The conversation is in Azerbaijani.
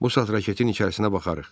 Bu saat raketin içərisinə baxarıq.